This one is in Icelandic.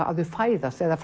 að þau fæðast eða